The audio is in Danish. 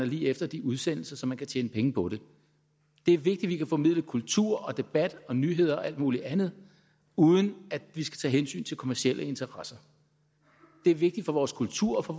lige efter de udsendelser så man kan tjene penge på det det er vigtigt at vi kan formidle kultur og debat og nyheder og alt muligt andet uden at vi skal tage hensyn til kommercielle interesser det er vigtigt for vores kultur og for